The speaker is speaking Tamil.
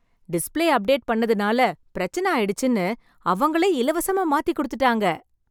டிஸ்ப்ளே அப்டேட் பண்ணதனால பிரச்சனை ஆயிடுச்சுன்னு, அவங்களே இலவசமா மாத்தி கொடுத்துட்டாங்க.